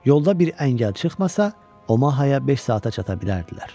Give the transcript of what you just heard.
Yolda bir əngəl çıxmasa, Omahaya beş saata çata bilərdilər.